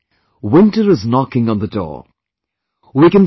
My dear countrymen, winter is knocking on the door